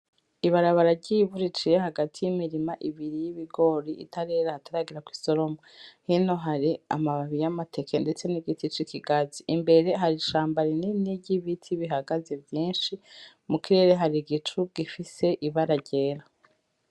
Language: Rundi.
Ibarabara ryivu riciye hagati yimirima ibiri yibigori itarera hataragera kwisoromwa hino hari amababi yamateke ndetse nigiti cikigazi imbere hari ishambi rinini ryibiti bihagaze vyinshi mu kirere hari igicu gifise ibara ryera.